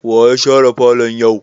Waye share falon yau?